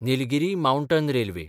Nilgiri mountain railway